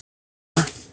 Elsku mamma.